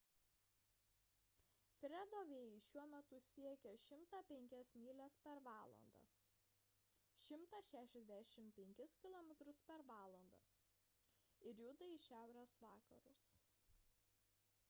fredo vėjai šiuo metu siekia 105 mylias per valandą 165 km/val. ir juda į šiaurės vakarus